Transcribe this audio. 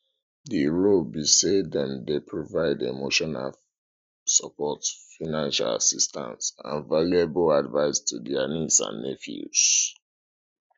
di role be say dem dey provide emotional support financial assistance and valuable advice to dia nieces and nephews